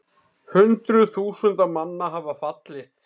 Hundruð þúsunda manna hafa fallið